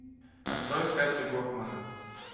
открой сказки гофмана